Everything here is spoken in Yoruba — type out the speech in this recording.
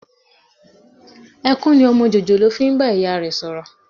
Ẹkún ni ọmọ jòjòló fi ń bá ìyá rẹ sọ̀rọ̀